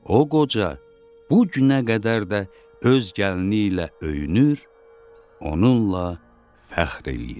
O qoca bu günə qədər də öz gəlini ilə öyünür, onunla fəxr eləyir.